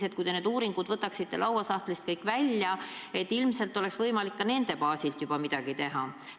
Kui te kõik need uuringud võtaksite lauasahtlist välja, ilmselt oleks võimalik ka nende baasil juba midagi teha.